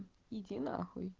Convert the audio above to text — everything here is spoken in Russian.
иди нахуй